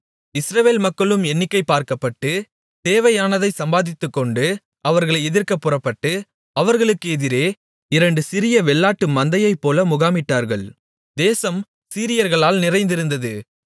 இஸ்ரவேல் மக்களும் எண்ணிக்கை பார்க்கப்பட்டு தேவையானதைச் சம்பாதித்துக்கொண்டு அவர்களை எதிர்க்கப் புறப்பட்டு அவர்களுக்கு எதிரே இரண்டு சிறிய வெள்ளாட்டு மந்தையைப்போல முகாமிட்டார்கள் தேசம் சீரியர்களால் நிறைந்திருந்தது